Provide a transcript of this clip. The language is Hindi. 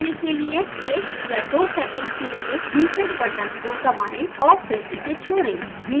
रीसेट करने के लिए 1 या 2 सेकेंड के लिए reset बटन को दबाएँ और फिर इसे छोड़ें